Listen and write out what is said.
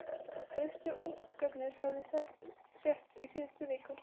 Fyrstu ungarnir höfðu sést í síðustu viku.